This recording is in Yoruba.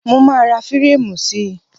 Mo máa ra fírámù sí.